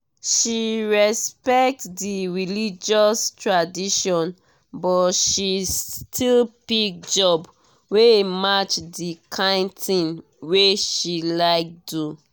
she respect di religious traditions but she still pick job wey match di kind thing wey she like do.